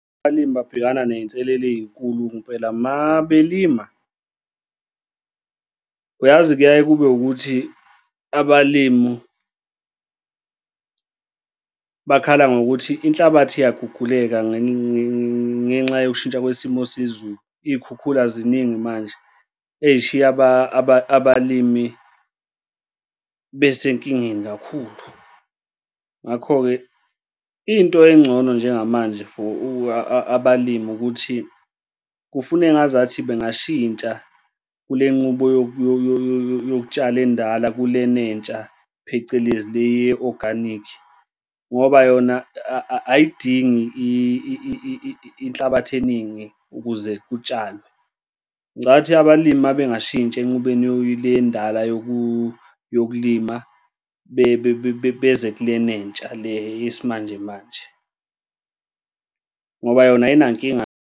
Abalimi babhekana ney'nselelo ey'nkulu ngempela mabelima. Uyazi kuyaye kube ukuthi abalim bakhala ngokuthi inhlabathi iyaguguleka ngenxa yokushintsha kwesimo sezulu, iy'khukhula ziningi manje ey'shiya abalimi besenkingeni kakhulu. Ngakho-ke into engcono njengamanje for abalimi ukuthi kufuna engazathi bangashintsha kule nqubo yokutshala endala kulena entsha, phecelezi le ye-organic, ngoba yona ayidingi inhlabathi eningi ukuze kutshalwe. Ngicathi abalimi uma bengashintsha enqubeni le endala yokulima beze kulena entsha le yesimanjemanje, ngoba yona ayinankinga.